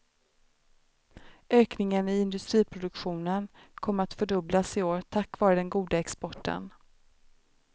Ökningen i industriproduktionen kommer att fördubblas i år tack vare den goda exporten.